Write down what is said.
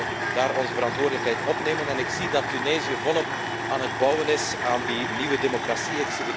We moeten daar onze verantwoordelijkheid opnemen en ik zie dat Tunesië volop aan het bouwen is aan die nieuwe democratie.